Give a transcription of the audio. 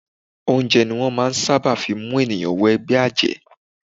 Oúnjẹ ni wọ́n ṣábà máà ń fí mú ènìyàn wọ ẹgbẹ́ àjẹ́.